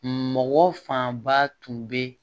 Mɔgɔ fanba tun bɛ